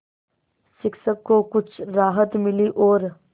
शिक्षक को कुछ राहत मिली और